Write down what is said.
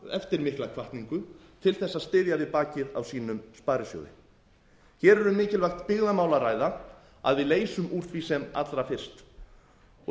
eftir mikla hvatningu til þess að styðja við bakið á sínum sparisjóði hér er um mikilvægt byggðamál að ræða að við leysum úr því sem allra fyrst